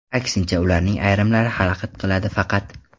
Aksincha, ularning ayrimlari xalaqit qiladi faqat.